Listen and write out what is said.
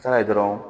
dɔrɔn